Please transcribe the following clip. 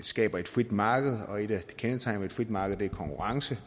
skaber et frit marked og et af kendetegnene ved et frit marked er konkurrence